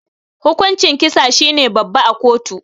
Hukuncin kisa shine babba a kotu.